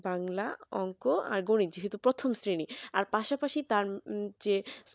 বাংলা অংক আর গণিত যেহেতু প্রথম শ্রেণী আর পাশাপাশি তার যে